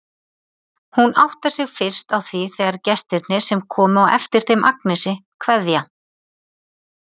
Hún áttar sig fyrst á því þegar gestirnir, sem komu á eftir þeim Agnesi, kveðja.